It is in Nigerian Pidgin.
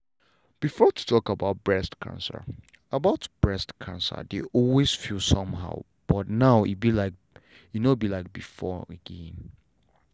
before to talk about breast cancer about breast cancer dey always feel somehow but now no be like before again.